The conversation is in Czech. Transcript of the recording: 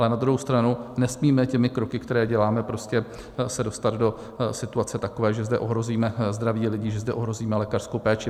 Ale na druhou stranu nesmíme těmi kroky, které děláme, prostě se dostat do situace takové, že zde ohrozíme zdraví lidí, že zde ohrozíme lékařskou péči.